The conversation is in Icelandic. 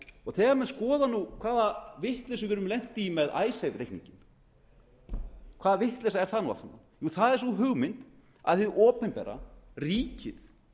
prósent þegar menn skoða hvaða vitleysu við erum lent í með icesave reikninginn hvaða vitleysa er það nú aftur það er sú hugmynd að hið opinbera ríkið